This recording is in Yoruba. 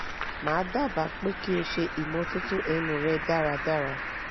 ma daba pe ki o se imototo enu re daradara